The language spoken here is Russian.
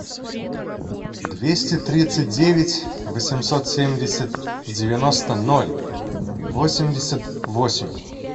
двести тридцать девять восемьсот семьдесят девяносто ноль восемьдесят восемь